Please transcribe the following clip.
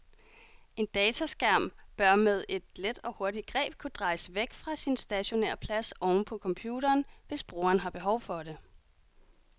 En dataskærm bør med et let og hurtigt greb kunne drejes væk fra sin stationære plads oven på computeren, hvis brugeren har behov for det.